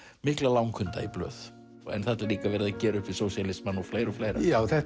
mikla langhunda í blöð og þarna er líka verið að gera upp við sósíalismann og fleira og fleira